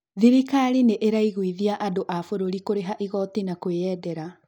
Thirikari nĩ ĩraiguithia andũ a bũrũri kũrĩha igooti na kwĩyendera.